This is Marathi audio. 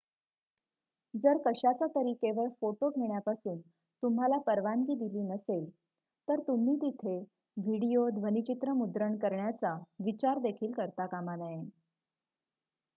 जर कशाचातरी केवळ फोटो घेण्यापासून तुम्हाला परवानगी दिली नसेल तर तुम्ही तिथे व्हिडीओ ध्वनीचित्र मुद्रण करण्याचा विचार देखील करता कामा नये